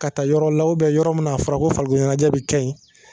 Ka taa yɔrɔw la ubiyɛn yɔrɔ mun n'a a fɔra ko farikoloɲɛnɛjɛ be kɛ yen